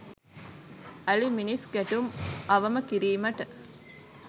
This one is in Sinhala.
අලිමිනිස් ගැටුම් අවම කිරීමට